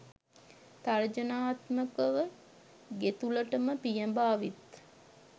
තර්ජනාත්මකව ගෙතුළටම පියාඹා විත්